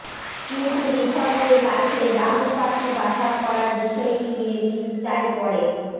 কিন্তু রিসোর্টের গাছে ডাহুক পাখি বাসা করার বিষয়টি নিয়ে চিন্তায় পড়ে